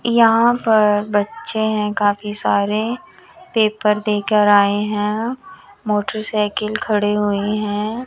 यहां पर बच्चे है काफी सारे पेपर देकर आये है मोटरसाइकिल खड़ी हुई है।